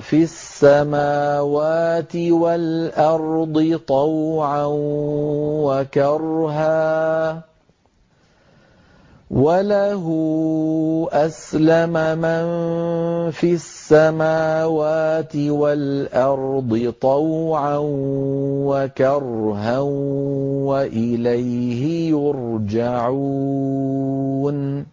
فِي السَّمَاوَاتِ وَالْأَرْضِ طَوْعًا وَكَرْهًا وَإِلَيْهِ يُرْجَعُونَ